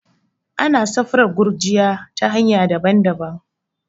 ana satraf gurjiya ta hanya daban-dabam